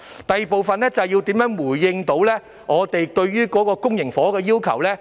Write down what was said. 第二部分是如何能夠回應我們對於公型房屋的要求。